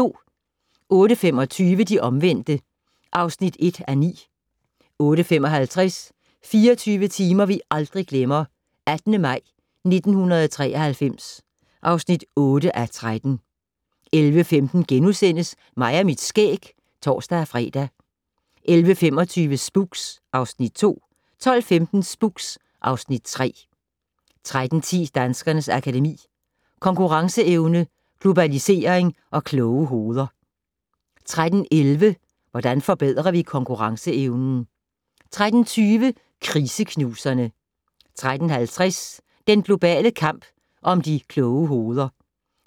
08:25: De omvendte (1:9) 08:55: 24 timer vi aldrig glemmer - 18. maj 1993 (8:13) 11:15: Mig og mit skæg *(tor-fre) 11:25: Spooks (Afs. 2) 12:15: Spooks (Afs. 3) 13:10: Danskernes Akademi: Konkurrenceevne, globalisering og kloge hoveder 13:11: Hvordan forbedrer vi konkurrenceevnen? 13:20: Kriseknuserne 13:50: Den globale kamp om de kloge hoveder